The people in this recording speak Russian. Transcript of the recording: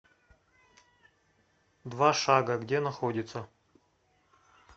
два шага где находится